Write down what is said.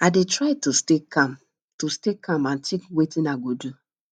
i dey try to stay calm to stay calm and think wetin i go do